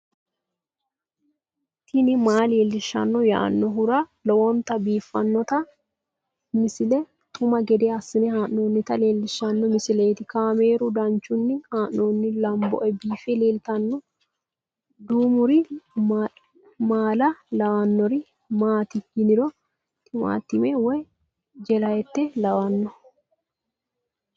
tini maa leelishshanno yaannohura lowonta biiffanota misile xuma gede assine haa'noonnita leellishshanno misileeti kaameru danchunni haa'noonni lamboe biiffe leeeltanno duumiri maala lawannori maati yiniro timaatime woy jelaate lawanno